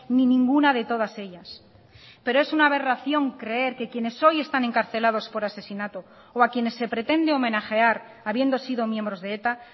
ni ninguna de todas ellas pero es una aberración creer que quienes hoy están encarcelados por asesinato o a quienes se pretende homenajear habiendo sido miembros de eta